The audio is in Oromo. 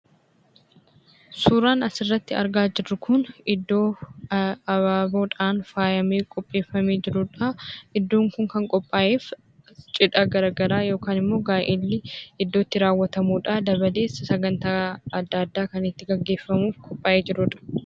Suuraan asirratti argaa jirru Kun, iddoo abaaboodhaan faayamee qopheeffamee jirudha. Iddoon kun kan qophaa'eef cidha garaagaraa yookiin immoo gaa'elli iddoo itti raawwatamuudha. Dabalees Sagantaa addaa addaa kan itti gaggeeffamuuf qophaa'ee jirudha.